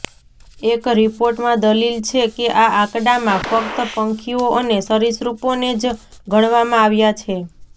એક રિપોર્ટમાં દલીલ છે કે આ આંકડામાં ફક્ત પંખીઓ અને સરિસૃપોને જ ગણવામાં આવ્યા છે